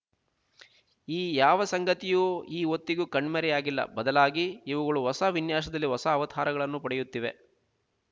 ಈ ಯಾವ ಸಂಗತಿಯೂ ಈ ಹೊತ್ತಿಗೂ ಕಣ್ಮರೆಯಾಗಿಲ್ಲ ಬದಲಾಗಿ ಇವುಗಳು ಹೊಸ ವಿನ್ಯಾಸದಲ್ಲಿ ಹೊಸ ಅವತಾರಗಳನ್ನು ಪಡೆಯುತ್ತಿವೆ